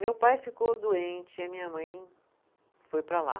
Meu pai ficou doente e a minha mãe foi para lá.